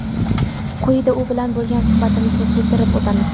Quyida u bilan bo‘lgan suhbatimizni keltirib o‘tamiz.